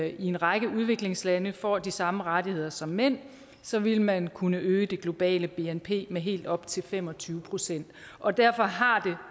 i en række udviklingslande får de samme rettigheder som mænd så vil man kunne øge det globale bnp med helt op til fem og tyve procent og derfor har